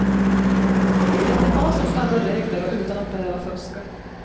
Efter konstens alla regler och utan att behöva fuska.